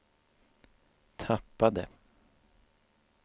tappade